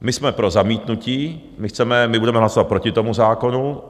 My jsme pro zamítnutí, my budeme hlasovat proti tomu zákonu.